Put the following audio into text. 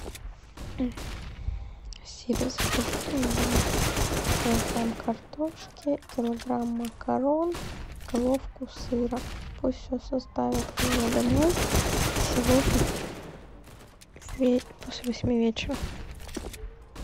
сири закажи мне килограмм картошки килограмм макарон головку сыра пусть все доставят ко мне домой сегодня после восьми вечера